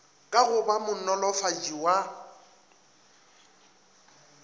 ka go ba monolofatši wa